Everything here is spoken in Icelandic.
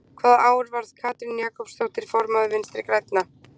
Hvaða ár varð Katrín Jakobsdóttir formaður Vinstri-Grænna?